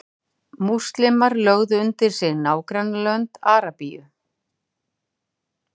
múslímar lögðu undir sig nágrannalönd arabíu